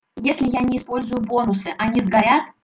если я не использую бонусы они сгорят